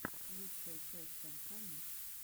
лучшая часть санька микс